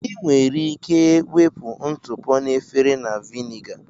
Ị nwere ike wepụ ntụpọ na efere na Viniga